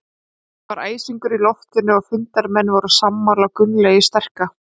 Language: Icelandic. Það var æsingur í loftinu og fundarmenn voru sammála Gunnlaugi sterka.